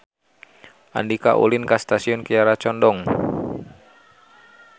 Andika ulin ka Stasiun Kiara Condong